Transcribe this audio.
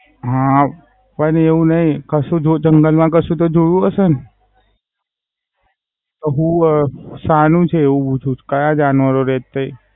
હા. પણ એવું નાઈ જંગલ માં કાંસુ તો જોયું હશે ને? હુવે શાનું છે એવું ક્યાં જાનવર રે?